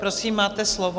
Prosím, máte slovo.